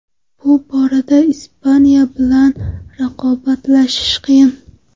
Bu borada Ispaniya bilan raqobatlashish qiyin.